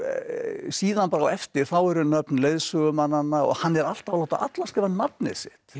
síðan bara á eftir þá eru nöfn leiðsögumannanna og hann er alltaf að láta alla skrifa nafnið sitt